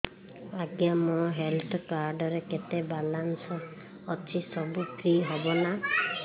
ଆଜ୍ଞା ମୋ health card ରେ କେତେ ବାଲାନ୍ସ ଅଛି ସବୁ ଫ୍ରି ହବ ନାଁ